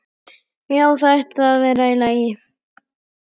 Já, það ætti að vera í lagi.